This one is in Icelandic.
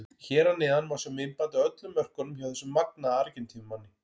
Hér að neðan má sjá myndband af öllum mörkunum hjá þessum magnaða Argentínumanni.